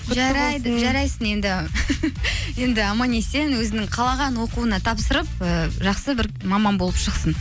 жарайсың енді енді аман есен өзінің қалаған оқуына тапсырып ііі жақсы бір маман болып шықсын